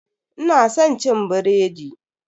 Ina san cin biredi.